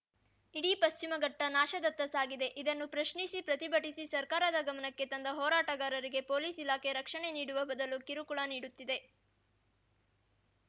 ಇಡೀ ಪಶ್ಚಿಮಘಟ್ಟನಾಶದತ್ತ ಸಾಗಿದೆ ಇದನ್ನು ಪ್ರಶ್ನಿಸಿ ಪ್ರತಿಭಟಿಸಿ ಸರ್ಕಾರದ ಗಮನಕ್ಕೆ ತಂದ ಹೋರಾಟಗಾರರಿಗೆ ಪೊಲೀಸ್‌ ಇಲಾಖೆ ರಕ್ಷಣೆ ನೀಡುವ ಬದಲು ಕಿರುಕುಳ ನೀಡುತ್ತಿದೆ